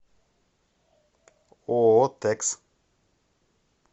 ооо тэкс